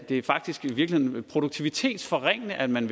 det faktisk i virkeligheden er produktivitetsforringende at man